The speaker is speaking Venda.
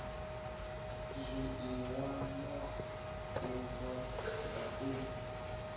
zwiiwa u nwa na u